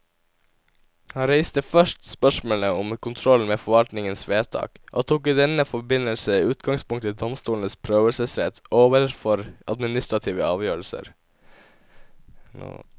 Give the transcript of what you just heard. Han reiste først spørsmålet om kontrollen med forvaltningens vedtak, og tok i denne forbindelse utgangspunkt i domstolenes prøvelsesrett overfor administrative avgjørelser.